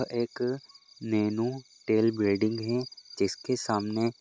एक नैनो है जिसके सामने --